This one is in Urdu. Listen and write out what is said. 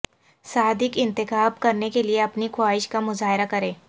صادق انتخاب کرنے کے لئے اپنی خواہش کا مظاہرہ کریں